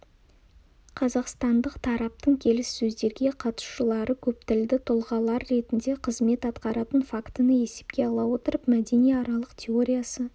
қазақстандық тараптың келіссөздерге қатысушылары көптілді тұлғалар ретінде қызмет атқаратын фактіні есепке ала отырып мәдениаралық теориясы